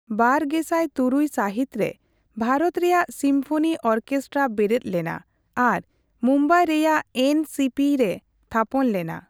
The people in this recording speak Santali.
᱒᱐᱐᱖ ᱥᱟᱹᱦᱤᱛ ᱨᱮ, ᱵᱷᱟᱨᱚᱛ ᱨᱮᱭᱟᱜ ᱥᱤᱢᱯᱷᱚᱱᱤ ᱚᱨᱠᱮᱥᱴᱨᱟ ᱵᱮᱨᱮᱫ ᱞᱮᱱᱟ, ᱟᱨ ᱢᱩᱢᱵᱟᱭ ᱨᱮᱭᱟᱜ ᱮᱱ ᱥᱤ ᱯᱤ ᱨᱮ ᱛᱷᱟᱯᱚᱱ ᱞᱮᱱᱟ ᱾